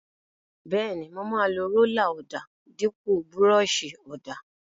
Bẹ́ẹ̀ni, mo máa lo rólà ọ̀dà dípò búrọ́ọ̀ṣì ọ̀dà.